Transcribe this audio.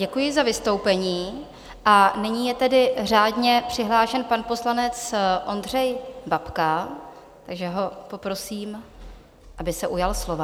Děkuji za vystoupení, a nyní je tedy řádně přihlášen pan poslanec Ondřej Babka, takže ho poprosím, aby se ujal slova.